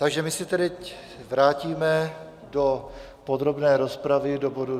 Takže my se teď vrátíme do podrobné rozpravy k bodu